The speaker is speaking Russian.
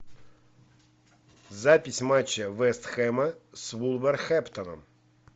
запись матча вест хэма с вулверхэмптоном